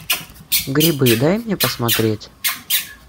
грибы дай мне посмотреть